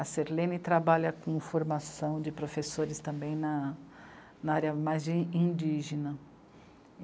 A Sirlene trabalha com formação de professores também na... na área mais de indígena.